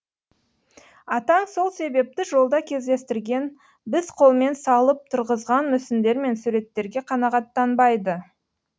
атаң сол себепті жолда кездестірген біз қолмен салып тұрғызған мүсіндер мен суреттерге қанағаттанбайды